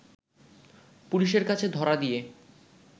পুলিশের কাছে ধরা দিয়ে